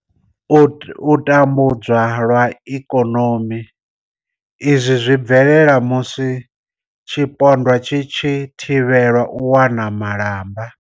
U tambudzwa lwa ikonomi, Izwi zwi bvelela musi tshipondwa tshi tshi thivhelwa u wana malamba.